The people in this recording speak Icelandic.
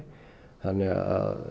þannig að